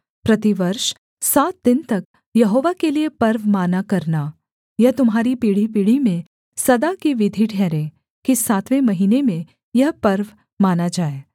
प्रतिवर्ष सात दिन तक यहोवा के लिये पर्व माना करना यह तुम्हारी पीढ़ीपीढ़ी में सदा की विधि ठहरे कि सातवें महीने में यह पर्व माना जाए